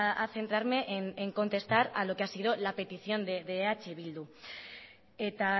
a centrarme en contestar a lo que ha sido la petición de eh bildu eta